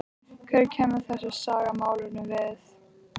Hvað kemur þessi saga málinu við?